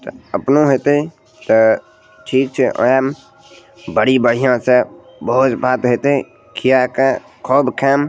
त अपना हेतय त ठीक छे अयान बड़ी बढ़िया से भोज-भात हेतय खिया के खूब खैम।